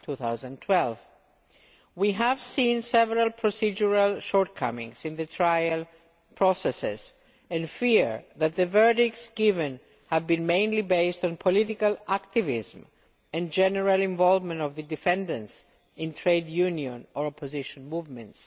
2012. We have seen several procedural shortcomings in the trial processes and fear that the verdicts given have been mainly based on political activism and the general involvement of the defendants in trade union or opposition movements.